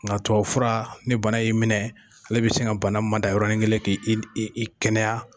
Nka tubabu fura ni bana y'i minɛ, ale bɛ se ka bana mada yɔrɔnin kelen , k'i kɛnɛya.